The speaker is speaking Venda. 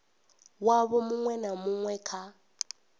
wavho muṅwe na muṅwe kha